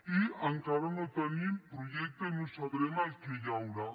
i encara no tenim projecte i no sabrem el que hi haurà